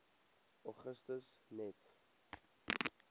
augustus net